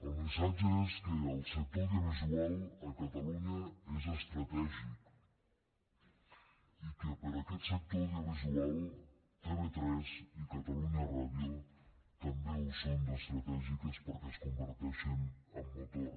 el missatge és que el sector audiovisual a catalunya és estratègic i que per a aquest sector audiovisual tv3 i catalunya ràdio també ho són d’estratègiques perquè es converteixen en motor